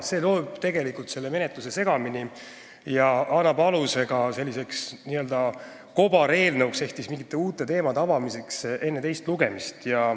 See lööb tegelikult menetluse segamini ja annab aluse n-ö kobareelnõule ehk mingite uute teemade avamisele enne teist lugemist.